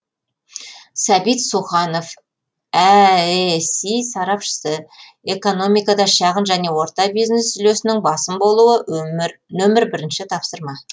сәбит суханов әэси сарапшысы экономикада шағын және орта бизнес үлесінің басым болуы нөмір бірінші тапсырма